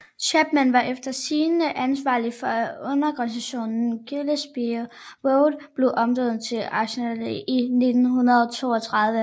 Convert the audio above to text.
Chapman var efter sigende ansvarlig for at undergrundsstationen Gillespie Road blev omdøbt til Arsenal i 1932